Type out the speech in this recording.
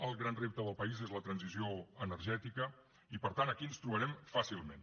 el gran repte del país és la transició energètica i per tant aquí ens trobarem fàcilment